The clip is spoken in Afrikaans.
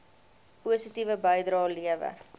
positiewe bydrae lewer